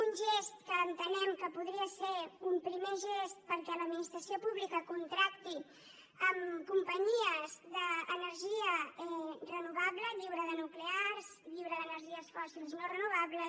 un gest que entenem que podria ser un primer gest perquè l’administració pública contracti companyies d’energia renovable lliure de nuclears lliure d’energies fòssils no renovables